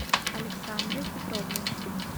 александры петровны